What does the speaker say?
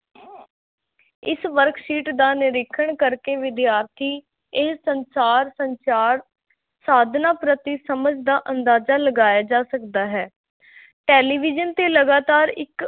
ਇਸ worksheet ਦਾ ਨਿਰੀਖਣ ਕਰਕੇ ਵਿਦਿਆਰਥੀ ਇਹ ਸੰਸਾਰ, ਸੰਚਾਰ ਸਾਧਨਾਂ ਪ੍ਰਤੀ ਸਮਝ ਦਾ ਅੰਦਾਜ਼ਾ ਲਗਾਇਆ ਜਾ ਸਕਦਾ ਹੈ ਟੈਲੀਵਿਜ਼ਨ 'ਤੇ ਲਗਾਤਾਰ ਇੱਕ